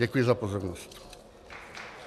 Děkuji za pozornost.